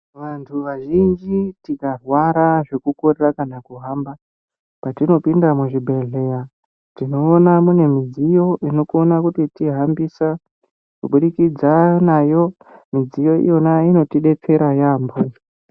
Vanhu vazhinji tikarwara zvekukorera kana kuhamba patinopinda muzvibhehleya tinoona mune midziyo inokona kutihambisa kubudikidza nayo midziyo iyona inotidetsera yaamho.